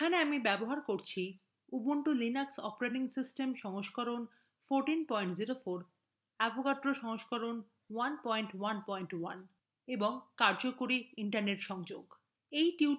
এখানে আমি ubuntu linux operating সিস্টেমের সংস্করণ 1404 ব্যবহার করছি